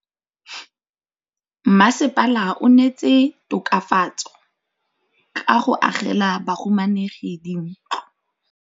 Mmasepala o neetse tokafatsô ka go agela bahumanegi dintlo.